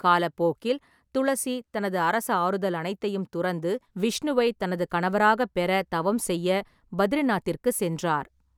காலப்போக்கில், துளசி தனது அரச ஆறுதல் அனைத்தையும் துறந்து, விஷ்ணுவை தனது கணவராக பெற தவம் செய்ய பத்ரிநாத்திற்குச் சென்றார்.